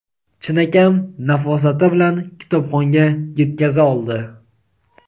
chinakam nafosati bilan kitobxonga yetkaza oldi.